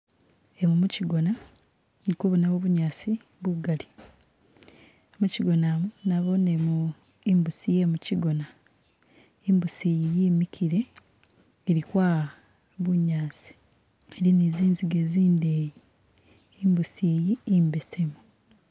Emu muchigona ndikubonamu bunyasi bugali muchigona mu nabonemo imbusi ye muchigona, imbusi yi yimikile ili kwaya bunyasi ili ni zinziga zindeyi, imbusi yi imbesemu